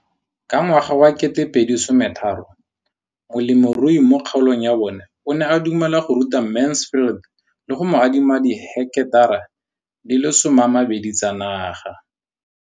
Ka ngwaga wa 2013, molemirui mo kgaolong ya bona o ne a dumela go ruta Mansfield le go mo adima di heketara di le 12 tsa naga.